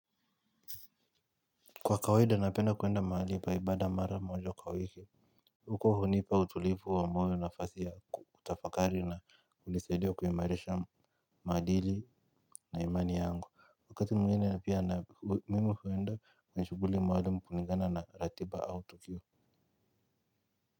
Kwa kawaida, napenda kuenda mahali pa ibada mara moja kwa wiki. Huko hunipa utulivu wa moyo nafasi ya kutafakari na hunisaidia kuimarisha maadili na imani yangu. Wakati mwingine pia mimi huenda, kwenye shughuli maalumu kulingana na ratiba au tukio.